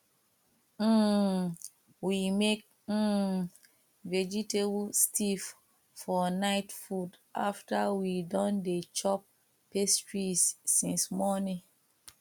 um we make um vegetable stirfr for night food after we don dey chop pastries since morning